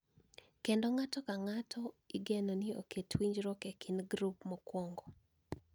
Kendo ng�ato ka ng�ato igeno ni oket winjruok e kind grup mokuongo .